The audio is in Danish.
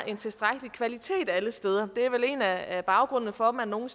en tilstrækkelig kvalitet alle steder det er vel en af af baggrundene for at man nogle